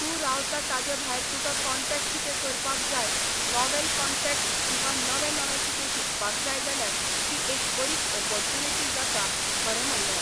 तूं रावता ताजे भायर तुका काँटेक्ट कितें करपाक जाय नॉवेल काँटेक्ट किंवा नवें नवें कितें शिकपाक जाय जाल्यार ती एक बरी ऑपोरचुनीटी जाता खरें म्हणल्यार